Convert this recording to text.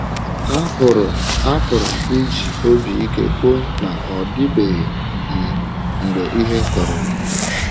Apụrụ Apụrụ m iji obi ike kwuo na ọ dịbeghị um mgbe ihe kọrọ m.